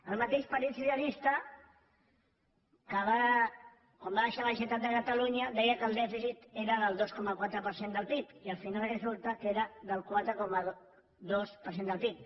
el mateix partit socialista que quan va deixar la generalitat de catalunya deia que el dèficit era del dos coma quatre per cent del pib i al final resulta que era del quatre coma dos per cent del pib